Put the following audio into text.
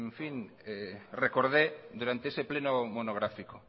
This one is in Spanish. recordé durante ese pleno monográfico